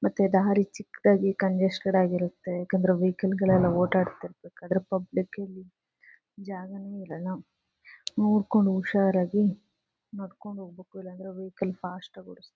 ಮತ್ತೆ ದಾರಿ ಚಿಕ್ಕದಾಗಿ ಕಂಜಸ್ಟೆಡ್ ಆಗಿ ಇರುತ್ತೆ. ಯಾಕಂದ್ರೆ ವೆಹಿಕಲ್ ಗಳು ಓಡಾಡಿತಿರುಬೇಕಾದ್ರೆ ಪಬ್ಲಿಕ್ ಗೆ ಇಲ್ಲಿ ಜಾಗನೇ ಇರಲ್ಲ. ನೋಡ್ಕೊಂಡು ಹುಷಾರಾಗಿ ನಡ್ಕೊಂಡು ಹೋಗ್ಬೇಕು. ಇಲ್ಲಾಂದ್ರೆ ವೆಹಿಕಲ್ ಫಾಸ್ಟ್ ಆಗಿ--